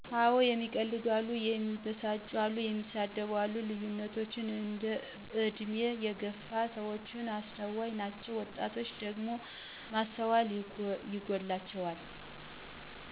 አወ እሚቀልዱ አሉ፣ እሚበሳጩ አሉ፣ እንደሳደብ አሉ ልዩነቶች በእድሜ የገፍ ሰዎች አስተዋይ ናችው ወጣቶች ደግሞ ማስተዋል ይጎላቸዋል።